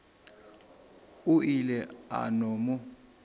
o ile a no mo